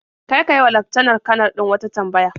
Kar ka yi wa laftanar-kanar din wata tambaya.